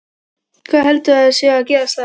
Hvað heldurðu að sé að gerast þar?